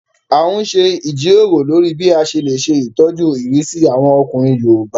A n ṣe ìjíròrò lórí bí a ṣe lè ṣe ìtọ́jú ìrísí àwọn ọkùnrin yoòbá